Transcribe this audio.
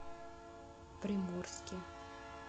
приморске